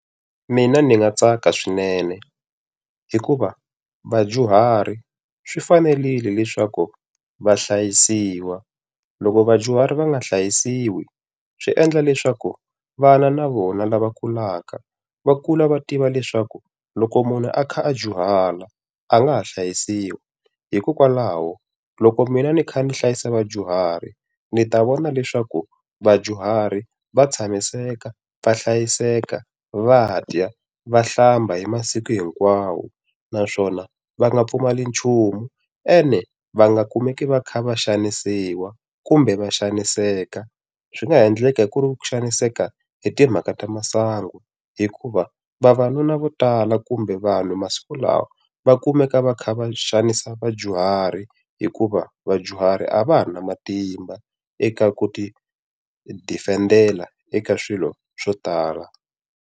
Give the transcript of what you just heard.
Mina ni nga tsaka swinene, hikuva vadyuhari swi fanerile leswaku va hlayisiwa. Loko vadyuhari va nga hlayisiwi swi endla leswaku vana na vona lava kulaka va kula va tiva leswaku loko munhu a kha a dyuhala a nga ha hlayisiwi. Hikokwalaho loko mina ni kha ni hlayisa vadyuhari, ni ta vona leswaku vadyuhari va tshamiseka, va hlayiseka, va dya, va hlamba, hi masiku hinkwawo. Naswona va nga pfumeli nchumu ene va nga kumeki va kha va xanisiwa kumbe va xaniseka. Swi nga endleka ku ri ku xaniseka hi timhaka ta masangu, hikuva vavanuna vo tala kumbe vanhu masiku lawa, va kumeka va kha va xanisa vadyuhari hikuva vadyuhari a va ha ri na matimba eka ku ti defend-ela eka swilo swo tala.